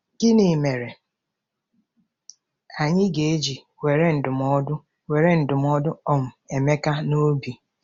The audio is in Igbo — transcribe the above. Gịnị mere anyị ga-eji were ndụmọdụ were ndụmọdụ um Emeka n’obi?